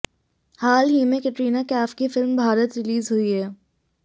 हाल ही में कैटरीना कैफ की फिल्म भारत रिलीज हुी है